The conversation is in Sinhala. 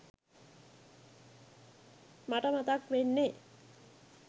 මට මතක් වෙන්නෙ